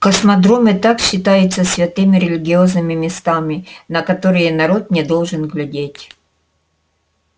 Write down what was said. космодром и так считается святыми религиозными местами на которые народ не должен глядеть